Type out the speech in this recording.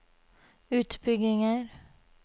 utbygginger